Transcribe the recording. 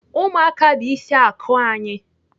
Ụmụaka bụ ịsị akụ anyị.